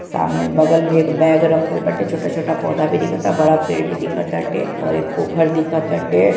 सामने बगल मे एक बैग रखल बाटे | छोटा-छोटा पोधा भी दिखता बड़ा पेड़ भी दिखत आटे और एक पोखर दिखत आटे |